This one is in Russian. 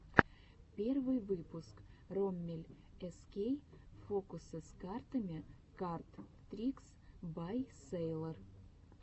первый выпуск роммель эскей фокусы с картами кард трикс бай сэйлор